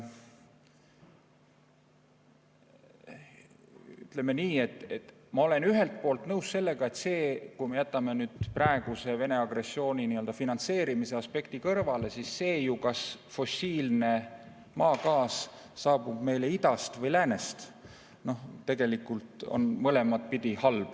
Ütleme nii, et ma olen ühelt poolt nõus, et kui me jätame praeguse Vene agressiooniga finantseerimise aspekti kõrvale, siis see, et fossiilne maagaas saabub meile kas idast või läänest, tegelikult on mõlemat pidi halb.